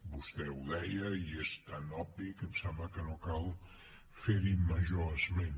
vostè ho deia i és tan obvi que em sembla que no cal fer hi major esment